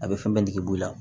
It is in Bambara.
A bɛ fɛn bɛɛ jigi bɔ i la